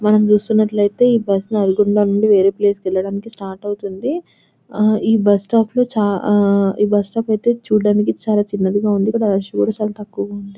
మనం చూస్తునట్లయితే ఈ బస్సు నుండి వేరే ప్లేస్ వెళ్లడానికి స్టార్ట్ అవుతుంది ఆ ఈ బస్సు స్టాప్ ఆ చ చూడడానికి అయితే చాల చిన్నది గ ఉంది రష్